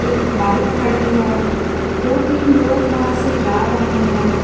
Bike खड़ी है दो तीन लोग वहां से जा रहे है।